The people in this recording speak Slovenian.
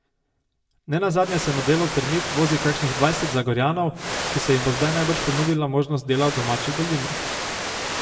Nenazadnje se na delo v Termit vozi kakšnih dvajset Zagorjanov, ki se jim bo zdaj najbrž ponudila možnost dela v domači dolini.